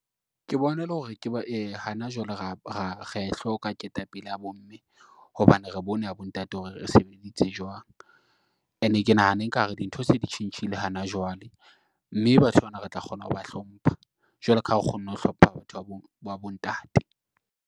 Ke bona e le hore hana jwale ra e hloka ketapele ya bomme hobane re bone ya bontate hore e sebeditse jwang. And-e ke nahana ekare dintho se ditjhintjhile hana jwale mme batho bana re tla kgona ho ba hlompha jwalo ka ha re kgonne ho hlopha batho ba bontate.